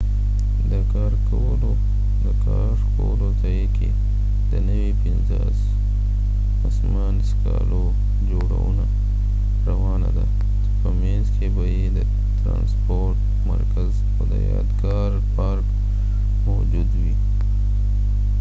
د کار کولو ځای کې د نوي پنځه اسمان څکالو جوړونه روانه ده چې په مينځ کې به يې د ترانسپورت مرکز او د يادګار پارک موجود وي